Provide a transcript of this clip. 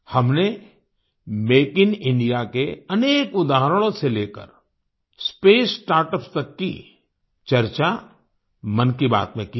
हमने make in India के अनेक उदाहरणों से लेकर स्पेस स्टार्टअप्स तक की चर्चा मन की बात में की है